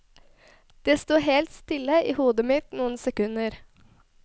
Det sto helt stille i hodet mitt noen sekunder.